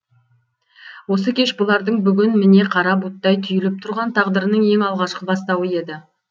осы кеш бұлардың бүгін міне қара бұлттай түйіліп тұрған тағдырының ең алғашқы бастауы еді